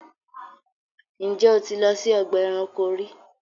Ǹjẹ́ o ti lọ sí ọgba ẹ̀ránkò rí?